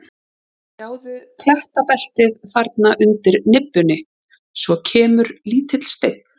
Sjáðu klettabeltið þarna undir nibbunni, svo kemur lítill steinn.